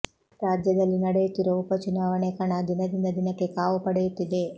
ರಾಜ್ಯದಲ್ಲಿ ನಡೆಯುತ್ತಿರುವ ಉಪ ಚುನಾವಣೆ ಕಣ ದಿನದಿಂದ ದಿನಕ್ಕೆ ಕಾವು ಪಡೆಯುತ್ತಿದೆ